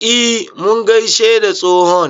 E, mun gaishe da tsohon.